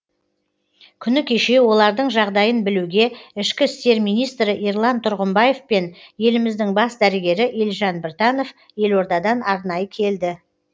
күні кеше олардың жағдайын білуге ішкі істер министрі ерлан тұрғымбаев пен еліміздің бас дәрігері елжан біртанов елордадан арнайы келді